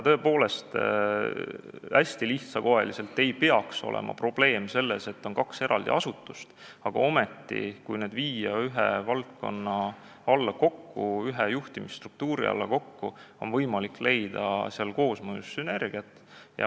Tõepoolest, hästi lihtsakoeliselt öeldes ei peaks olema probleem selles, et on kaks eraldi asutust, aga ometi, kui need viia ühe juhtimisstruktuuri alla kokku, on võimalik leida koosmõjus sünergiat.